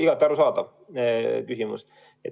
Igati arusaadav küsimus.